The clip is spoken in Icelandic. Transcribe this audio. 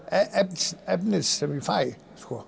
efnis efnis sem ég fæ